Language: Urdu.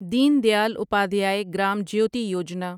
دین دیال اپادھیائے گرام جیوتی یوجنا